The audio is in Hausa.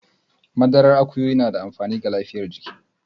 Madarar akuyoyi na da amfani ga lafiyar jiki.